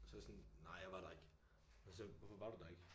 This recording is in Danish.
Og så jeg sådan nej jeg var der ikke. Og så hvorfor var du der ikke?